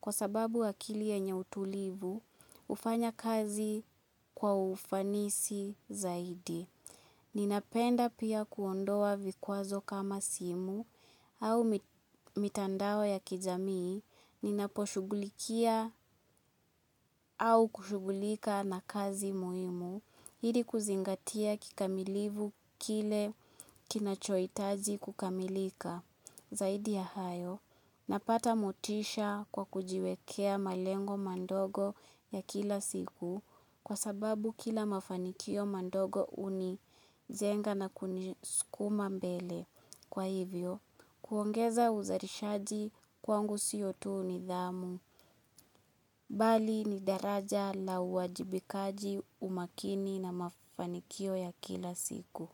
kwa sababu akili ikiwa yenye utulivu, hufanya kazi kwa ufanisi zaidi. Ninapenda pia kuondoa vikwazo kama simu au mitandao ya kijamii ninaposhughulikia. Au kushughulika na kazi muhimu ili kuzingatia kikamilifu kile kinachohitaji kukamilika. Zaidi ya hayo, napata motisha kwa kujiwekea malengo madogo ya kila siku kwa sababu kila mafanikio madogo hunijenga na kunisukuma mbele. Kwa hivyo, kuongeza uzalishaji kwangu si tu nidhamu bali ni daraja la uwajibikaji, umakini na mafanikio ya kila siku.